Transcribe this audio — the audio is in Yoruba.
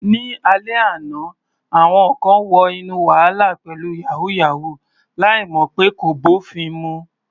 Ní alẹ́ àná, àwọn kan wọ inú wàhálà pẹ̀lú "yàwúyáwù ," láì mọ̀ pé kò bófin mu.